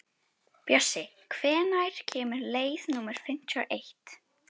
Bjössi, hvenær kemur leið númer fimmtíu og eitt?